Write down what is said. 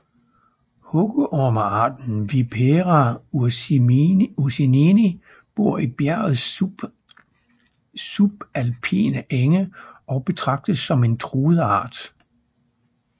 Hugormearten Vipera ursinii bor i bjergets subalpine enge og betragtes som en truet art